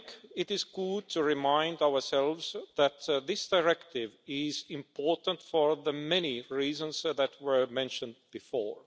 It is good to remind ourselves that this directive is important for the many reasons that were mentioned before.